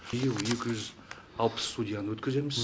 биыл екі жүз алпыс судьяны өткіземіз